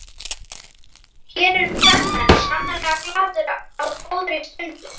Hér eru kvenmenn sannarlega glaðir á góðri stund.